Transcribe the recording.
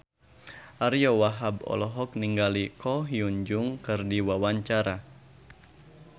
Ariyo Wahab olohok ningali Ko Hyun Jung keur diwawancara